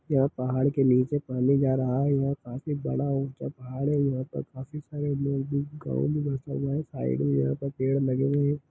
यहाँ पहाड़ के नीचे पानी जा रहा है यहाँ काफी बड़ा ऊँचा पहाड़ है यहाँ पे काफी सारे लोग भी गाँव बसा जा रहा है साइड मे यहाँ पर पेड़ लगे हुए है।